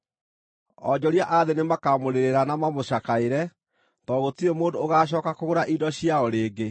“Onjoria a thĩ nĩmakamũrĩrĩra na mamũcakaĩre, tondũ gũtirĩ mũndũ ũgaacooka kũgũra indo ciao rĩngĩ: